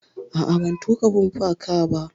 A'a, ban tuƙa bumper car ba.